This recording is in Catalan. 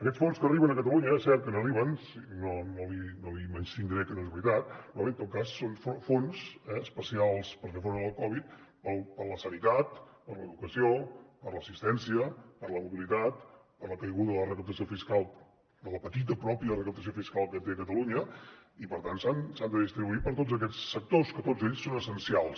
aquests fons que arriben a catalunya és cert que n’arriben no li menystindré que és veritat en tot cas són fons especials per fer front a la covid per a la sanitat per a l’educació per a l’assistència per a la mobilitat per a la caiguda de la recaptació fiscal de la petita i pròpia recaptació fiscal que té catalunya i per tant s’han de distribuir per a tots aquests sectors que tots ells són essencials